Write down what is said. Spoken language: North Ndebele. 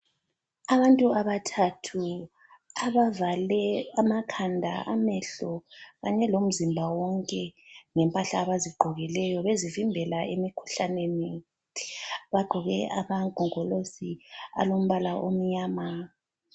Abantu abathathu abavale amakhanda amehlo kanye lomzimba wonke ngempahla abazigqokileyo bezivimbela emikhuhlaneni. Bagqoke amangongolosi alombala omnyama.